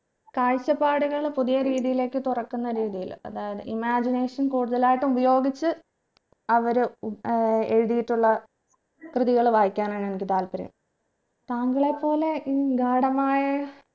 കാഴ്ചപ്പാടുകൾ പുതിയ രീതിയിലേക്ക് തുറക്കുന്ന രീതിയില് അതായത് imagination കൂടുതലായിട്ടു ഉപയോഗിച്ച് അവര് ഏർ എഴുതിയിട്ടുള്ള കൃതികൾ വായിക്കാനാണ് എനിക്ക് താല്പര്യം താങ്കളെ പോലെ ഇൻ ഗാഢമായ